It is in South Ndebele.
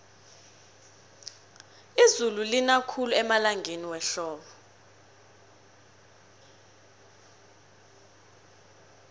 izulu lina khulu emalangeni wehlobo